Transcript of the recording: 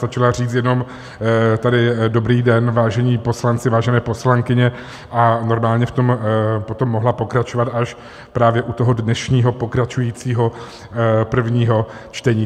Stačila říct jenom tady "dobrý den, vážení poslanci, vážené poslankyně" a normálně v tom potom mohla pokračovat až právě u toho dnešního pokračujícího prvního čtení.